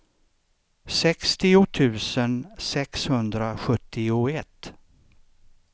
sextio tusen sexhundrasjuttioett